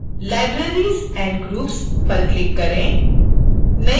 libraries and groups पर click करें